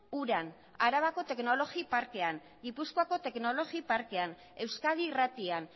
uran arabako teknologi parkean gipuzkoako teknologi parketan euskadi irratian